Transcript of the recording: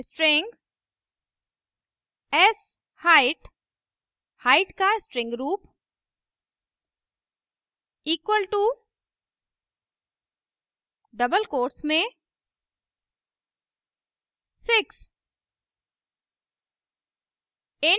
string sheight height का string रूप equal to double quotes में 6